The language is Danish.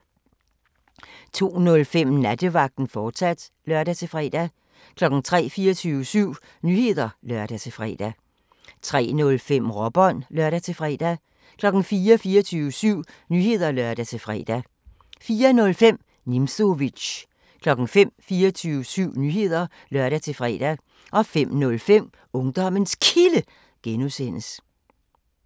02:05: Nattevagten, fortsat (lør-fre) 03:00: 24syv Nyheder (lør-fre) 03:05: Råbånd (lør-fre) 04:00: 24syv Nyheder (lør-fre) 04:05: Nimzowitsch 05:00: 24syv Nyheder (lør-fre) 05:05: Ungdommens Kilde (G)